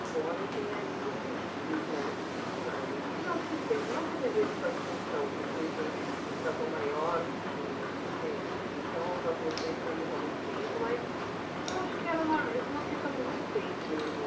Embora eu tenha ido pedir para, fui lá em sinal de respeito, não que eu devesse satisfação para o presidente da Tom Maior, que até então nós nos conhecemos há muito tempo, mas eu acho que era mais uma questão de respeito mesmo.